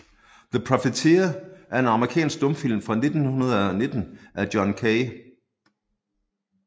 The Profiteer er en amerikansk stumfilm fra 1919 af John K